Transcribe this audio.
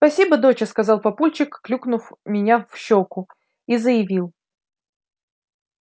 спасибо доча сказал папульчик клюкнув меня в щёку и заявил